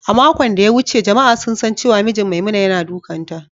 A makon ɗaya wuce jama’a sun san cewa mijin Maimuna yana dukanta.